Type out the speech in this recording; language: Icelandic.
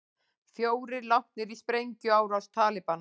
Fjórir látnir í sprengjuárás Talibana